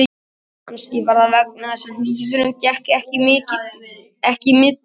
Kannski var það vegna þess að hnífurinn gekk ekki milli okkar